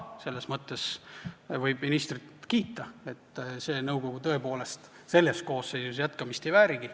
Selles mõttes võib ministrit kiita, see nõukogu tõepoolest selles koosseisus jätkamist ei väärinudki.